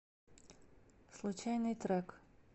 случайный трек